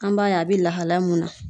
An b'a ye, a bɛ lahala mun na.